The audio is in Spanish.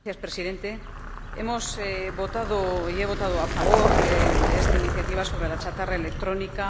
Señor Presidente, hemos votado y he votado a favor de esta iniciativa sobre la chatarra electrónica.